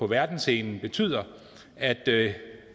verdensscenen betyder at at